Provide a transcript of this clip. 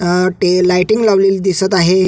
अ ते लाइटिंग लावलेली दिसत आहे.